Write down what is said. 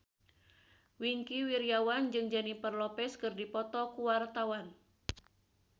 Wingky Wiryawan jeung Jennifer Lopez keur dipoto ku wartawan